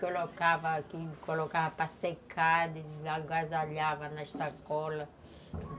Colocava aqui, colocava para secar, agasalhava na sacola.